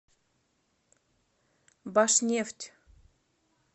башнефть